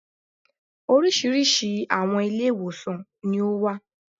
Oríṣiríṣi àwọn Ilé-ìwòsàn ní ó wà